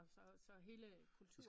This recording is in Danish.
Og så hele kulturen